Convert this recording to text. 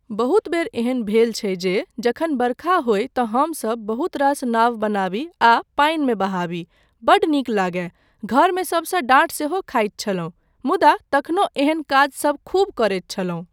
बहुत बेर एहन भेल छै जे जखन बरखा होय तँ हमसब बहुत रास नाव बनाबी आ पानिमे बहाबी, बड्ड नीक लागय, घरमे सबसँ डाँट सेहो खाइत छलहुँ मुदा तखनो एहन काजसब खूब करैत छलहुँ।